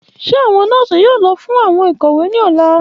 Ṣe awọn nọọsi yoo lọ fun awọn ikowe ni ọla?